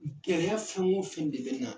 Gɛlɛya fɛn o fɛn de bɛ na